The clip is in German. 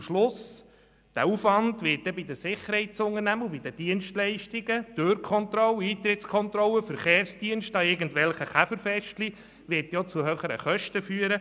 Am Schluss wird der Aufwand der Sicherheitsunternehmungen für Dienstleistungen wie Türkontrollen, Eintrittskontrollen, Verkehrsdienste und so weiter zu höheren Kosten führen.